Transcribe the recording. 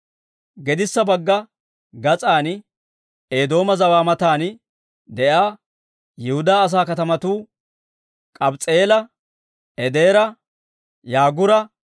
Gedissa bagga gas'an Eedooma zawaa matan de'iyaa Yihudaa asaa katamatuu K'abs's'i'eela, Edeera, Yaagura,